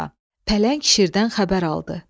Pələng şirdən xəbər aldı.